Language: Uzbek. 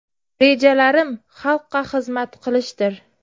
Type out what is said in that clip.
Rejalarim xalqqa xizmat qilishdir.